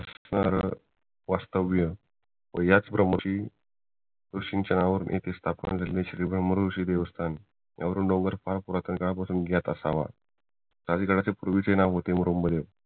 वास्तव्य व याच ब्रम्ह्शी ऋषींच्या नावाने येथे स्थापन झालेली श्रीमान ब्रम्हऋषी देवस्थान यातून डोंगर फार पुरातन काळापासून असावं आदि गडाचे पूर्वीचे नाव होते मुरुम्ब्गड